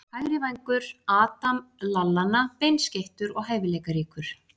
Hægri vængur- Adam Lallana Beinskeyttur og hæfileikaríkur.